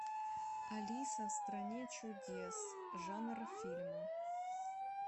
алиса в стране чудес жанр фильма